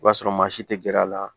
O b'a sɔrɔ maa si tɛ gɛr'a la